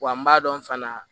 Wa n b'a dɔn fana